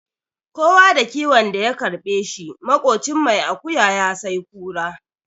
Kowa da kiwon da ya karɓe shi, maƙocin mai akuya ya sai kura.